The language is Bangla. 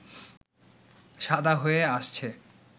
সাদা হয়ে আসছে